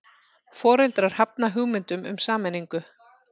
Foreldrar hafna hugmyndum um sameiningu